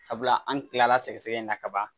Sabula an kilala sɛgɛsɛgɛ in na ka ban